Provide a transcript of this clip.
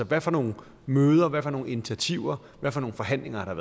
hvad for nogle møder hvad for nogle initiativer hvad for nogle forhandlinger har